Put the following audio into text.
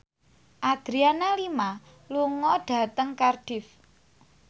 Adriana Lima lunga dhateng Cardiff